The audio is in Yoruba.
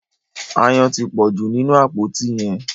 Aáyán tí pọju nínú àpótí yén.